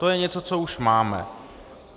To je něco, co už máme.